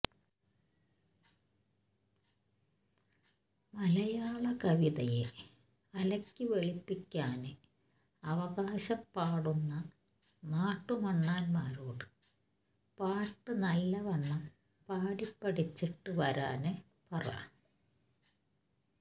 മലയാളകവിതയെ അലക്കി വെളുപ്പിക്കാന് അവകാശം പാടുന്ന നാട്ടുമണ്ണാന്മാരോട് പാട്ട് നല്ലവണ്ണം പാടിപ്പഠിച്ചിട്ടു വരാന് പറ